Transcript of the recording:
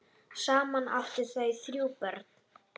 Saman áttu þau þrjú börn.